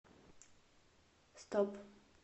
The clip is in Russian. стоп